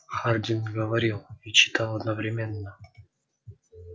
хардин говорил и читал одновременно